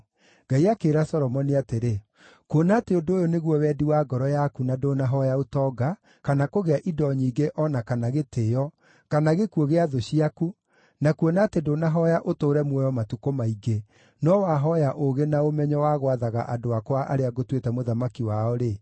Ngai akĩĩra Solomoni atĩrĩ, “Kuona atĩ ũndũ ũyũ nĩguo wendi wa ngoro yaku na ndũnahooya ũtonga, kana kũgĩa indo nyingĩ o na kana gĩtĩĩo, kana gĩkuũ gĩa thũ ciaku, na kuona atĩ ndũnahooya ũtũũre muoyo matukũ maingĩ, no wahooya ũũgĩ na ũmenyo wa gwathaga andũ akwa arĩa ngũtuĩte mũthamaki wao-rĩ,